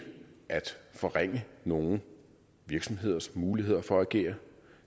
at forringe nogle virksomheders muligheder for at agere